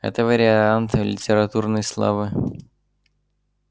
это вариант литературной славы